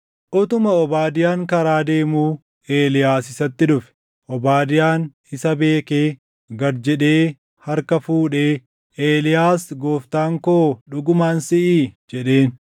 Utuma Obaadiyaan karaa deemuu Eeliyaas isatti dhufe. Obaadiyaan isa beekee gad jedhee harka fuudhee, “Eeliyaas gooftaan koo dhugumaan siʼii?” jedheen.